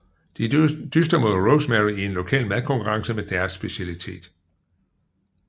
De dyster mod Rosemary i en lokal madkonkurrence med deres specialitet